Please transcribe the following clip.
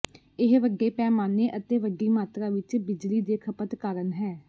ਇਹ ਵੱਡੇ ਪੈਮਾਨੇ ਅਤੇ ਵੱਡੀ ਮਾਤਰਾ ਵਿੱਚ ਬਿਜਲੀ ਦੇ ਖਪਤ ਕਾਰਨ ਹੈ